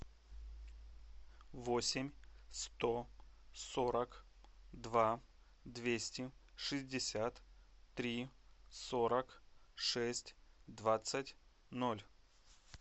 восемь сто сорок два двести шестьдесят три сорок шесть двадцать ноль